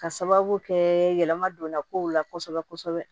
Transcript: Ka sababu kɛ yɛlɛma donna kow la kosɛbɛ kosɛbɛ